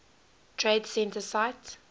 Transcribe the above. trade center site